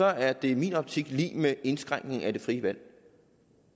er det i min optik lig med indskrænkning af det frie valg